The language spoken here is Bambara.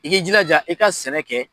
I k'i jilaja i ka sɛnɛ kɛ.